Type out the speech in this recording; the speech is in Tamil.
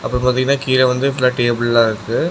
அங்க பாத்தீங்கன்னா கீழ வந்து ஃபுல்லா டேபுள்லாம் இருக்கு.